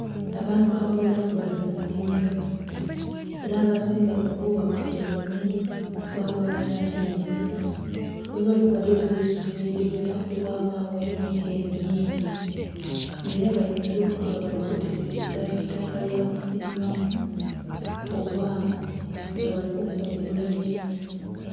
Abantu abagheera ku bali munimiro era abasinga kubo bakutaime ghabayo atyaime. Ghebali ghaligho eisubi eri gheera ku ghabagho emiti emingi nga era bayinza okuba bali kutereza eitaka lya kusimbamu oba nga bali kukungula birime.